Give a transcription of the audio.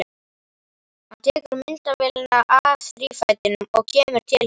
Hann tekur myndavélina af þrífætinum og kemur til hennar.